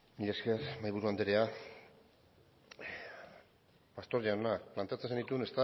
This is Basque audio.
mila esker mahaiburu andrea pastor jauna planteatzen genituen